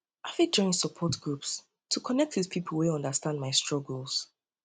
i fit join support groups to connect with pipo wey understand my struggles